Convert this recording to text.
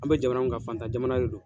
An be jamana mun kan fantan jamana de don.